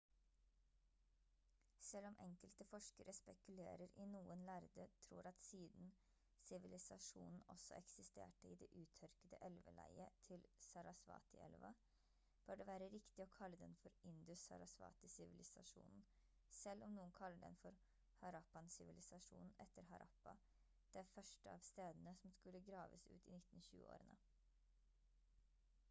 selv om enkelte forskere spekulerer i noen lærde tror at siden sivilisasjonen også eksisterte i det uttørkede elveleiet til sarasvati-elva bør det være riktig å kalle den for indus-sarasvati-sivilisasjonen selv om noen kaller den for harappan-sivilisasjonen etter harappa det første av stedene som skulle graves ut i 1920-årene